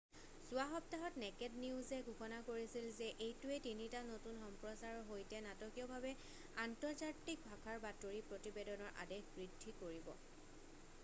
যোৱা সপ্তাহত নেকেড নিউজে ঘোষণা কৰিছিল যে এইটোৱে তিনিটা নতুন সম্প্ৰচাৰৰ সৈতে নাটকীয়ভাৱে আন্তৰ্জাতিক ভাষাৰ বাতৰি প্ৰতিবেদনৰ আদেশ বৃদ্ধি কৰিব